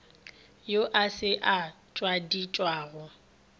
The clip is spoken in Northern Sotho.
yo a se a ngwadišwago